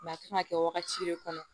a kan ka kɛ wagati de kɔnɔ